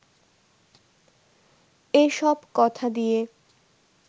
এ সব কথা দিয়ে